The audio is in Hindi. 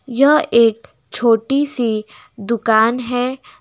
यह एक छोटी सी दुकान है।